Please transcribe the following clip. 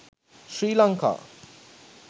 sri lanka